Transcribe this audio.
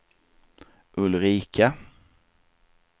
Ulrika